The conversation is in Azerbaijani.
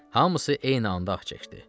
Hamısı eyni anda ah çəkdi.